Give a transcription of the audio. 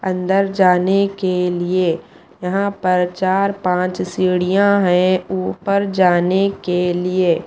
अंदर जाने के लिए यहां पर चार-पांच सीढ़ियां हैं ऊपर जाने के लिए--